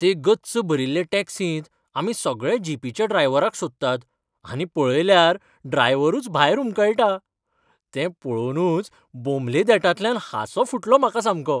ते गच्च भरिल्ले टॅक्सींत आमी सगळे जीपीच्या ड्रायव्हराक सोदतात आनी पळयल्यार ड्रायव्हरूच भायर हुमकळटा. तें पळोवनूच बोमले देंठांतल्यान हांसो फुटलो म्हाका सामको.